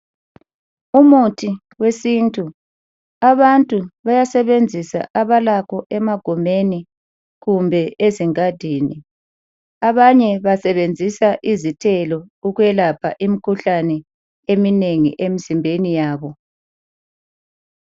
Umuthi wesintu, abantu bayasebenzisa abalakho emagumeni kumbe ezingadini. Abanye basebenzisa izithelo ukwelapha imikhuhlane eminengi emzimbeni yabo.